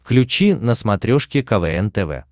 включи на смотрешке квн тв